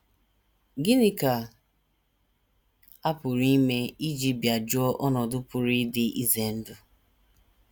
Gịnị ka a pụrụ ime iji bịajụọ ọnọdụ pụrụ ịdị ize ndụ??